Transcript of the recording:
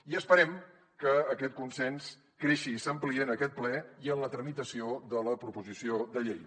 i esperem que aquest consens creixi i s’ampliï en aquest ple i en la tramitació de la proposició de llei